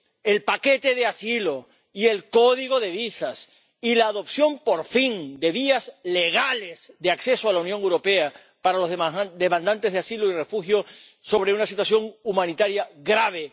el paquete de asilo y el código de visas y la adopción, por fin, de vías legales de acceso a la Unión Europea para los demandantes de asilo y refugio en caso de situación humanitaria grave.